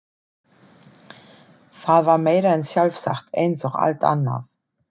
Það var meira en sjálfsagt eins og allt annað.